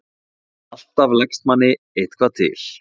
Alltaf leggst manni eitthvað til.